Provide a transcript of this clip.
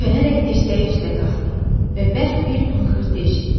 Çönərək dirsəyi üstə qalxdı və bərk bir fınxırtı eşitdi.